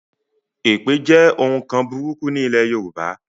Èpè jẹ́ òun nkan burúkú ní ilé Yorùbá